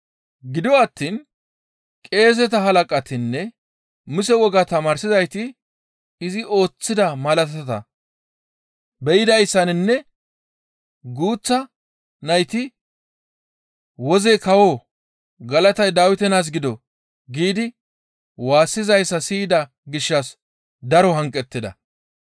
Gido attiin qeeseta halaqatinne Muse wogaa tamaarsizayti izi ooththida malaatata be7idayssaninne guuththa nayti, «Woze kawo, galatay Dawite naas gido!» giidi waassizayssa siyida gishshas daro hanqettida.